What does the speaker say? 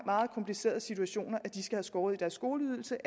meget komplicerede situationer skal have skåret i deres skoleydelse